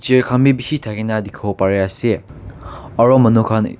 chair khan bhi bisi thaki kina dekhi bo Pari ase aru manu khan.